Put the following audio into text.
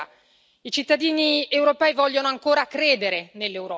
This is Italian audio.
I cittadini europei vogliono ancora credere nell'Europa.